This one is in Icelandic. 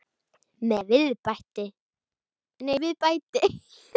Með viðbæti.